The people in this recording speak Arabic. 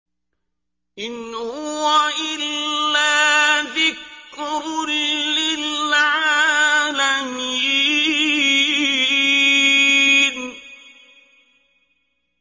إِنْ هُوَ إِلَّا ذِكْرٌ لِّلْعَالَمِينَ